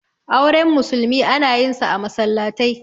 auren musulmi ana yinsa a masallatai